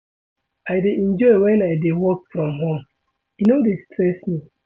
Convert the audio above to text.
I dey enjoy wen I dey work from home, e no dey stress me.